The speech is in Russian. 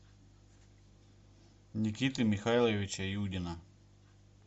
никиты михайловича юдина